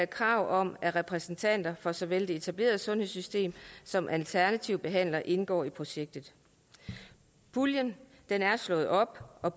krav om at repræsentanter for såvel det etablerede sundhedssystem som alternative behandlere indgår i projektet puljen er slået op og